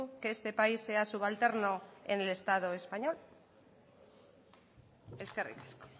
que este país sea subalterno en el estado español eskerrik asko